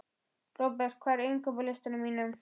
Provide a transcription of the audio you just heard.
Robert, hvað er á innkaupalistanum mínum?